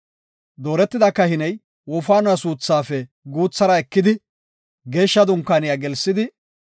Dooretida kahiney wofaanuwa suuthaafe guuthara ekidi Geeshsha Dunkaaniya gelsidi,